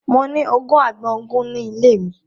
Mo ní ogún àgbọn ogun ni ile mi